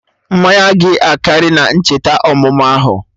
Mmanya gị akarị na-ncheta ọmụmụ ahụ